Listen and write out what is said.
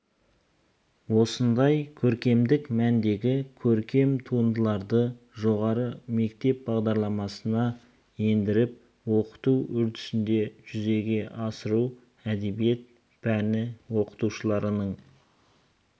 осындай көркемдік мәндегі көркем туындыларды жоғары мектеп бағдарламасына ендіріп оқыту үдерісінде жүзеге асыру әдебиет пәні оқытушыларының